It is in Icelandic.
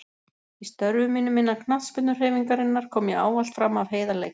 Í störfum mínum innan knattspyrnuhreyfingarinnar kom ég ávallt fram af heiðarleika.